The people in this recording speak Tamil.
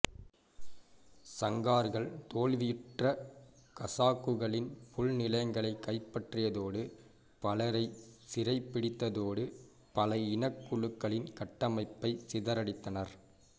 சங்கார்கள் தோல்வியுற்ற கசாக்குகளின் புல்நிலங்களைக் கைப்பற்றியதோடு பலரைச் சிறைப்பிடித்ததோடு பல இனக்குழுக்களின் கட்டமைப்பையும் சிதறடித்தனர்